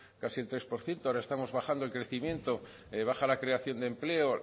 casi un tres por ciento ahora estamos bajando el crecimiento baja la creación de empleo